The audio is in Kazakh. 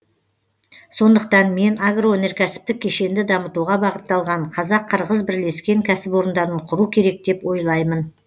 сондықтан мен агроөнеркәсіптік кешенді дамытуға бағытталған қазақ қырғыз бірлескен кәсіпорындарын құру керек деп ойлаймын